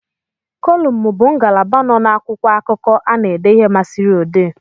Kolumu bụ ngalaba nọ n'akwụkwọakụkọ a na ede ihe masịrị odee